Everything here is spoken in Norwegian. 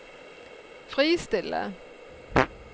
fristille